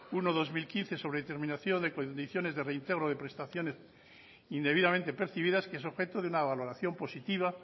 uno barra dos mil quince sobre determinación de condiciones de reintegro de prestación indebidamente percibidas que es objeto de una valoración positiva